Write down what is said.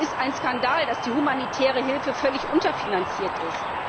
Es ist ein Skandal, dass die humanitäre Hilfe völlig unterfinanziert ist.